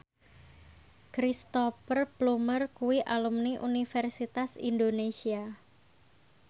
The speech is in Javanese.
Cristhoper Plumer kuwi alumni Universitas Indonesia